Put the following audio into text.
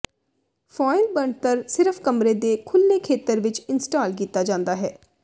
foil ਬਣਤਰ ਸਿਰਫ ਕਮਰੇ ਦੇ ਖੁੱਲ੍ਹੇ ਖੇਤਰ ਵਿੱਚ ਇੰਸਟਾਲ ਕੀਤਾ ਜਾ ਸਕਦਾ ਹੈ